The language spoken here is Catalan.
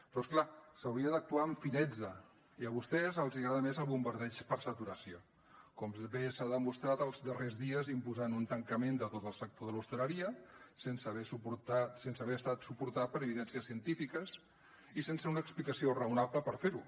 però és clar s’hauria d’actuar amb finezza i a vostès els agrada més el bombardeig per saturació com bé s’ha demostrat els darrers dies imposant un tancament de tot el sector de l’hostaleria sense haver estat suportat per evidències científiques i sense una explicació raonable per fer ho